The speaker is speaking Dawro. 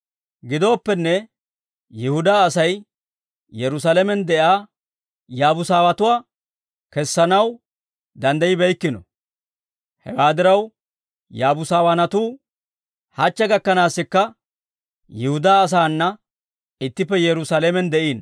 Gidooppenne, Yihudaa Asay Yerusaalamen de'iyaa Yaabuusatuwaa kessanaw danddayibeykkino. Hewaa diraw Yaabuusawaanatuu hachche gakkanaassikka Yihudaa asaana ittippe Yerusaalamen de'iino.